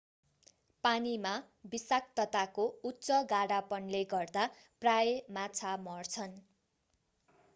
पानीमा विषाक्तताको उच्च गाढापनले गर्दा प्रायः माछा मर्छन्